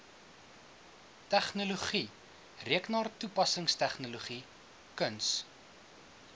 tegnologie rekenaartoepassingstegnologie kuns